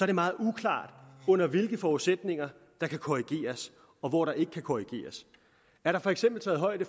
det meget uklart under hvilke forudsætninger der kan korrigeres og hvor der ikke kan korrigeres er der for eksempel taget højde